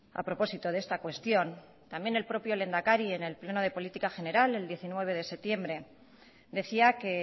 a propósito de esta cuestión también el propio lehendakari en el pleno de política general el diecinueve de septiembre decía que